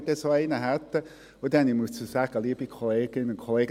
Dazu muss ich sagen, liebe Kolleginnen und Kollegen: